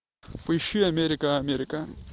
поищи америка америка